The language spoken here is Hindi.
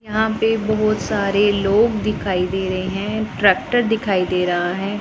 यहां पे बहोत सारे लोग दिखाई दे रहे है ट्रैक्टर दिखाई दे रहा है।